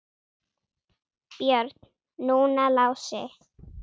Björn, núna Lási.